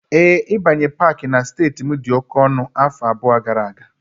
Ee, ịbanye Pááki na steeti m dị oke ọnụ afọ abụọ gara aga